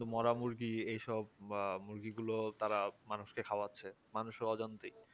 মরা মুরগি এইসব বা মুরগিগুলো তারা মানুষকে খাওয়াচ্ছে মানুষের অজান্তেই